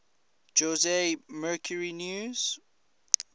jose mercury news